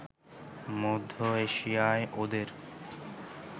মধ্য এশিয়ায় ওদের